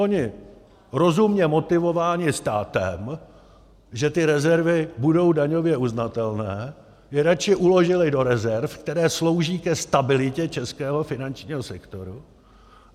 Oni rozumně motivováni státem, že ty rezervy budou daňově uznatelné, je radši uložili do rezerv, které slouží ke stabilitě českého finančního sektoru.